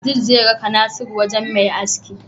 Abdul zai raka nasiru wajan Me aski